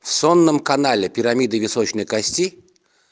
в соннам канале пирамиды височной кости